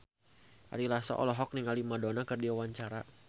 Ari Lasso olohok ningali Madonna keur diwawancara